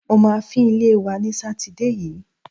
Mo máa fín ilé wa ní Sátidé yìí.